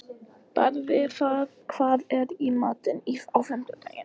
Barði, hvað er í matinn á fimmtudaginn?